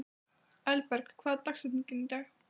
Elberg, hver er dagsetningin í dag?